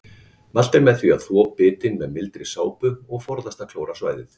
Mælt er með því að þvo bitin með mildri sápu og forðast að klóra svæðið.